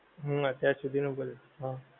હમ અત્યાર સુધી નું બધે હા